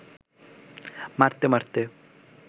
মারতে মারতে